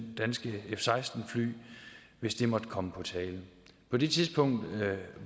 danske f seksten fly hvis det måtte komme på tale på det tidspunkt